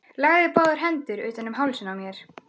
Lagði báðar hendur utan um hálsinn á mér.